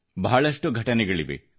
ಬಹಳಷ್ಟು ಘಟನೆಗಳಿವೆ